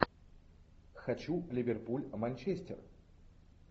хочу ливерпуль манчестер